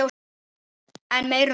En meira um það síðar.